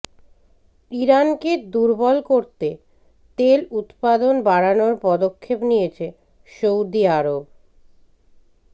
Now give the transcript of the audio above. ইরানকে দুর্বল করতে তেল উৎপাদন বাড়ানোর পদক্ষেপ নিয়েছে সৌদি আরব